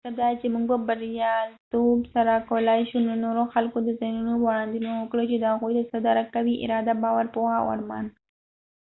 ددې مطلب دادي چې موږ په بریالیتوب سره کولای شو د نورو خلکو د ذهنونو وړاندوينه وکړو چې دوي څه درک کوي ، اراده ،باور، پوهه او ارمان